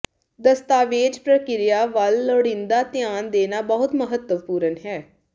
ਦਸਤਾਵੇਜ਼ ਪ੍ਰਕਿਰਿਆ ਵੱਲ ਲੋੜੀਂਦਾ ਧਿਆਨ ਦੇਣਾ ਬਹੁਤ ਮਹੱਤਵਪੂਰਨ ਹੈ